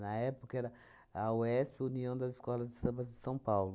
época era a UESP, União das Escolas de Sambas de São Paulo.